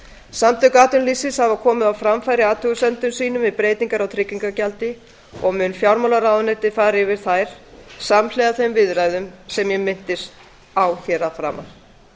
samtök atvinnulífsins hafa komið á framfæri athugasemdum sínum við breytingar á tryggingagjaldi og mun fjármálaráðuneytið fara yfir þær samhliða þeim viðræðum sem minnst er á að framan